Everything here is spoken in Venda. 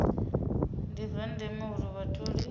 ndi zwa ndeme uri vhatholi